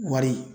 Wari